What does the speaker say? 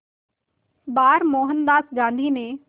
बार मोहनदास गांधी ने